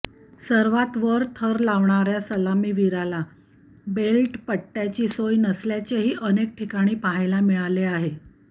सर्वात वर थर लावणाऱ्या सलामवीराला बेल्ट पट्ट्याची सोय नसल्याचेही अनेक ठिकाणी पाहायला मिळाले आहे